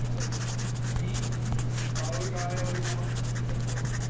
ഈ ഒരു കാലയളവിൽ നമ്മൾ ശ്രദ്ധിച്ചപ്പോൾ